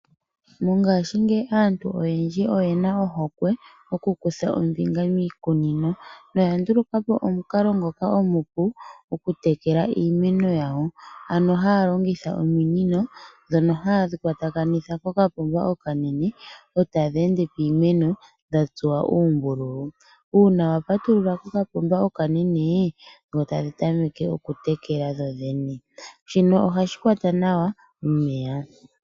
Mongashi ngeyi aantu oyendji oyena ohokwe mokukutha ombinga miikunino noya ndulukapo omunkalo ngoka omupu oku tekela iimeno yawo ano halongitha ominino dhono hadhi kwatakanitha kokapomba okanene otadhende piimeno dhatsuwa uumbululu una wapatulula kokapomba okanene dho tadhi tameke oku tekela dhodhene shino ohashi kwata nawa omeya.